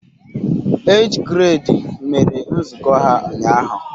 Age grade mere nzukọ ha ụnyahụ